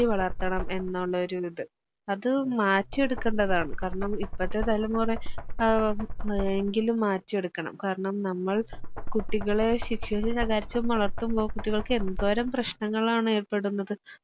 അത് മാറ്റിയെടുക്കണ്ടതാണ് കാരണം ഇപ്പഴത്തെ തലമുറെ അഹ് ഏഹ് എങ്കിലും മാറ്റിയെടുക്കണം കാരണം നമ്മൾ കുട്ടികളെ ശിക്ക്ഷിച്ചും, ശകാരിച്ചും വളർത്തുബൊ കുട്ടികള്ക്ക് എന്തോരം പ്രശ്നങ്ങളാണെർപ്പെടുന്നത്